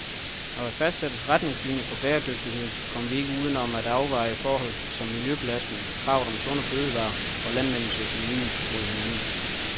Når der fastsættes retningslinier for bæredygtighed, kommer vi ikke uden om at afveje forhold som miljøbelastning, kravet om sunde fødevarer og landmændenes økonomi mod hinanden.